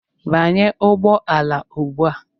Banye ụgbọala ugbu a!